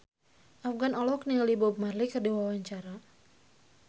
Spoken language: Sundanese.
Afgan olohok ningali Bob Marley keur diwawancara